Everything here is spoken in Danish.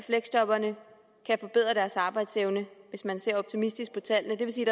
af fleksjobberne kan forbedre deres arbejdsevne hvis man ser optimistisk på tallene det vil sige